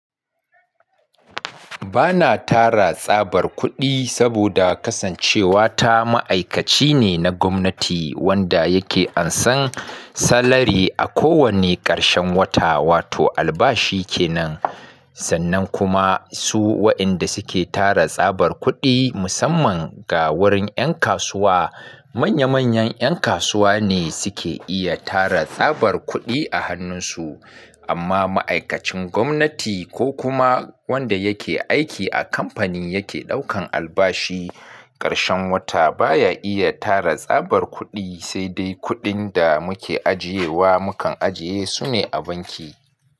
Ba na tara tsabar kuɗi saboda kasancewa ta ma'aikaci ne na gwamnati wanda yake ansan salari a kowanne ƙarshen wata, wato albashi kenan. Sannan kuma su wa'inda suke tara tsabar kuɗi musamman ga wurin 'yan kasuwa, manya manyan 'yan kasuwa ne suke iya tara tsabar kuɗi a hannunsu. Amma ma'aikacin gwamnati ko kuma wanda yake aiki a kamfanin yake ɗaukan albashi ƙarshen wata baya iya tara tsabar kuɗi, sai dai kuɗin da muke ajiye wa mukan ajiye su ne a banki.